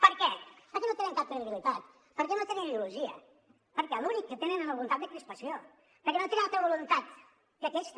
per què perquè no tenen cap credibilitat perquè no tenen ideologia perquè l’únic que tenen és la voluntat de crispació perquè no tenen altra voluntat que aquesta